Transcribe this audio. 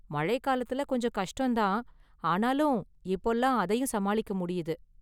மழை காலத்துல கொஞ்சம் கஷ்டம் தான், ஆனாலும் இப்போலாம் அதையும் சமாளிக்க முடியுது.